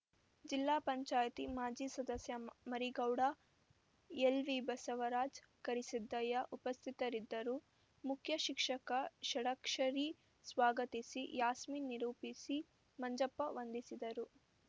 ಜಿಲ್ಲಾ ಪಂಚಾಯತಿ ಮಾಜಿ ಸದಸ್ಯ ಮರಿಗೌಡ ಎಲ್‌ವಿಬಸವರಾಜ್‌ ಕರಿಸಿದ್ದಯ್ಯ ಉಪಸ್ಥಿತರಿದ್ದರು ಮುಖ್ಯ ಶಿಕ್ಷಕ ಷಡಕ್ಷರಿ ಸ್ವಾಗತಿಸಿ ಯಾಸ್ಮಿನ್‌ ನಿರೂಪಿಸಿ ಮಂಜಪ್ಪ ವಂದಿಸಿದರು